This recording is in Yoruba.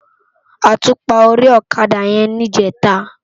Átúpá óri òkadá yèn nijètá